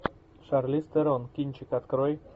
шарлиз терон кинчик открой